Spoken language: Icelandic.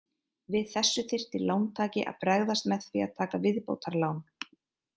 Við þessu þyrfti lántaki að bregðast með því að taka viðbótarlán.